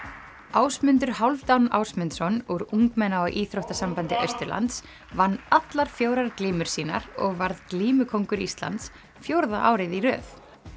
Ásmundur Hálfdán Ásmundsson úr ungmenna og íþróttasambandi Austurlands vann allar fjórar glímur sínar og varð glímukóngur Íslands fjórða árið í röð